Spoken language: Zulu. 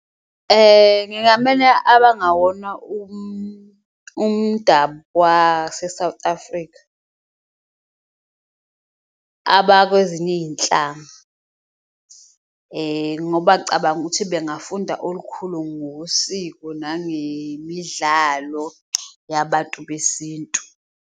Abangawona umdabu wase-South Africa abakwezinye iyihlanga, ngoba cabanga ukuthi bengafunda olukhulu ngosiko nangemidlalo yabantu besintu.